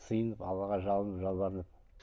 сыйынып аллаға жалынып жалбарынып